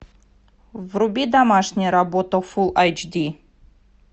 вруби домашняя работа фулл эйч ди